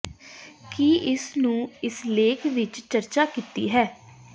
ਕੀ ਇਸ ਨੂੰ ਇਸ ਲੇਖ ਵਿਚ ਚਰਚਾ ਕੀਤੀ ਹੈ